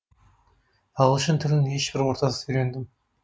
ағылшын тілін ешбір ортасыз үйрендім